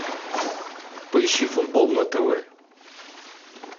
поищи футбол на тв